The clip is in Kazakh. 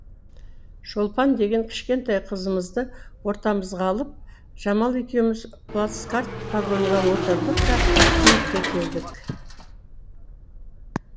шолпан деген кішкентай қызымызды ортамызға алып жамал екеуіміз плацкарт вагонға отырдық та киевке келдік